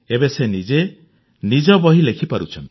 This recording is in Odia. ଏବେ ସେ ନିଜ ବହି ନିଜେ ଲେଖିପାରୁଛନ୍ତି